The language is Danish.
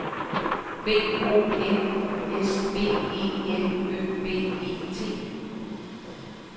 B O N U S B E L Ø B E T